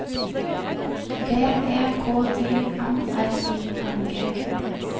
B E K Y M R I N G